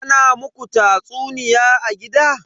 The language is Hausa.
Ana muku tatsuniya a gida?